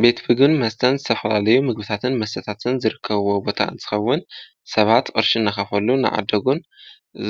ቤት ምግብን መስተን ዝተፈላለዩ ምግብታትን መሰተታትን ዝርከብዎም ቦታ እንፅኸውን ሰባት ቅርሲን እናኸፈሉ እናዓደጉን